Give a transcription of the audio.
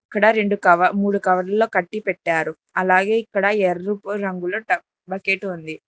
ఇక్కడ రెండు కవ మూడు కవర్లలో కట్టిపెట్టారు అలాగే ఇక్కడ ఎర్రుపు రంగులో టవ్ ఒక బకెట్ ఉంది.